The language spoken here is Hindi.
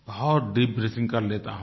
बहुत दीप ब्रीथिंग कर लेता हूँ